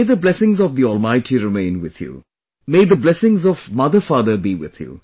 May the blessings of All Mighty remain with you, blessings of motherfather be with you